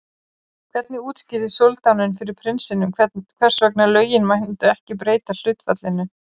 Hvernig útskýrði soldáninn fyrir prinsinum hvers vegna lögin myndu ekki breyta hlutfallinu?